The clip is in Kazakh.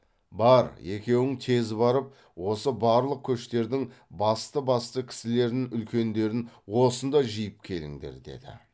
бар екеуің тез барып осы барлық көштердің басты басты кісілерін үлкендерін осында жиып келіңдер деді